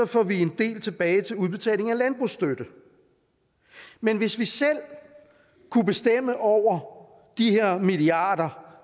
får vi en del tilbage til udbetaling af landbrugsstøtte men hvis vi selv kunne bestemme over de her milliarder